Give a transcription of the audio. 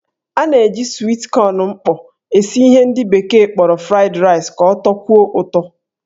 A na-eji swit kọn mkpọ esi ihe ndị bekee kpọrọ fried rice ka ọ tọkwuo ụtọ.